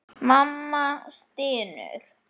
Mamma stynur.